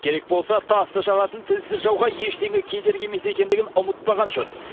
керек болса тасты жаратын тілсіз жауға ештеңе кедергі емес екендігін ұмытпаған жөн